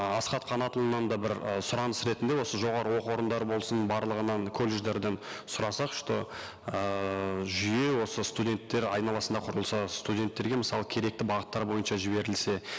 ы асхат қанатұлынан да бір ы сұраныс ретінде осы жоғарғы оқу орындары болсын барлығынан колледждерден сұрасақ что ыыы жүйе осы студенттер айналасында құрылса студенттерге мысалы керекті бағыттар бойынша жіберілсе